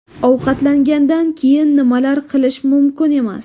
Ovqatlangandan keyin nimalar qilish mumkin emas?.